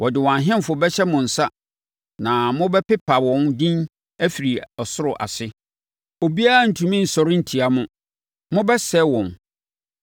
Ɔde wɔn ahemfo bɛhyɛ mo nsa na mobɛpepa wɔn din afiri ɔsoro ase. Obiara rentumi nsɔre ntia mo; mobɛsɛe wɔn.